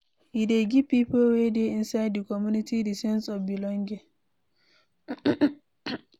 E dey give pipo wey dey inside di community di sense of belonging